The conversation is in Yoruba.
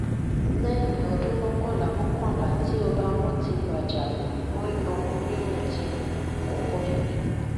lẹyìn ọdún mọkànlá mọkànlá tí ọba wọn ti wájà wọn yan onírun tirun àkókò tuntun